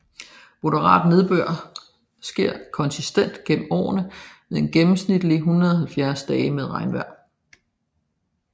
Moderat nedbør sker konsistent gennem året med gennemsnitligt 170 dage med regnvejr